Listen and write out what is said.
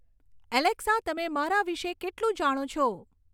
Alexa તમે મારા વિષે કેટલું જાણો છો